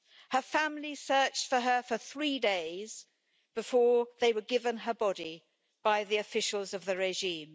Her family searched for her for three days before they were given her body by the officials of the regime.